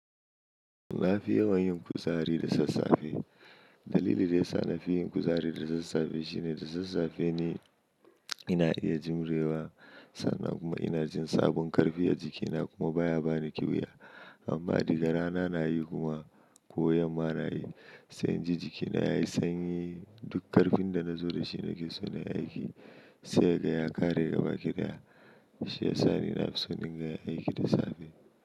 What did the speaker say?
Na fi yawan yin kuzari da sassafe. Dalili da yasa na fi yin kuzari da sassafe shine da sassafe ne ina iya jimrewa sannan kuma ina jin sabon karfi a jikina kuma baya bani ƙyuya. Amma diga rana na yi kuma ko yamma na yi, sai in ji jikina yayi sanyi. Duk karfin da nazo dashi nake so nayi aiki sai haga ya ƙare gaba ki daya. Shiyasa ni nafi son in ga yin aiki da safe.